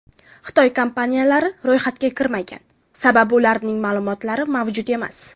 Xitoy kompaniyalar ro‘yxatga kirmagan, sababi ularning ma’lumotlari mavjud emas.